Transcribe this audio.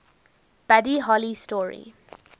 buddy holly story